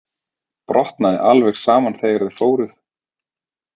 Brotnaði alveg saman þegar þið fóruð.